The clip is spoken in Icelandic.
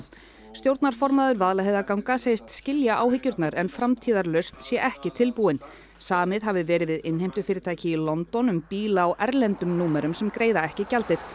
stjórnarformaður Vaðlaheiðarganga segist skilja áhyggjurnar en framtíðarlausn sé ekki tilbúin samið hafi verið við innheimtufyrirtæki í London um bíla á erlendum númerum sem greiða ekki gjaldið